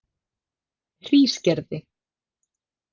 Hrísgerði